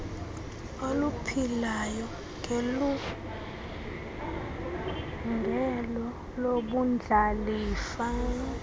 oluphilayo ngelungelo lobundlalifa